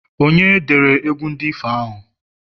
onye dere egwu ndi ifo ahụ?